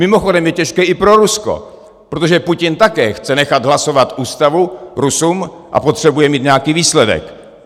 Mimochodem je těžké i pro Rusko, protože Putin také chce nechat hlasovat ústavu Rusům a potřebuje mít nějaký výsledek.